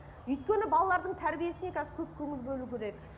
өйткені балалардың тәрбиесіне қазір көп көңіл бөлу керек